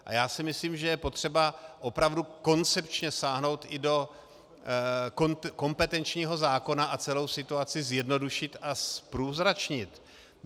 A já si myslím, že je potřeba opravdu koncepčně sáhnout i do kompetenčního zákona a celou situaci zjednodušit a zprůzračnit.